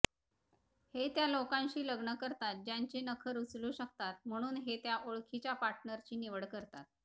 हे त्या लोकांशी लग्न करतात ज्यांचे नखर उचलू शकतात म्हणून हे ओळखीच्या पार्टनरची निवड करतात